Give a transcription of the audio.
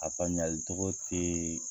A faamuyali togo tee